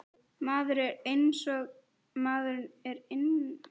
Maður er einsog maður er innan undir fötunum.